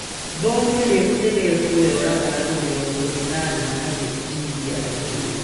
Bomu rĩa gutegwa rioraga andũ mĩrongo ĩnana nagũtihia anini